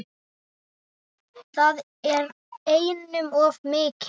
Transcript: Það er einum of mikið.